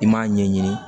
I m'a ɲɛɲini